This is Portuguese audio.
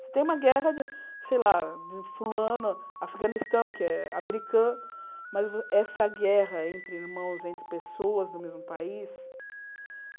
Você tem uma guerra, sei lá, de fulano, Afeganistão, que é americano, mas essa guerra entre irmãos, entre pessoas do mesmo país,